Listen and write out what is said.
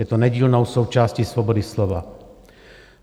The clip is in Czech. Je to nedílnou součástí svobody slova.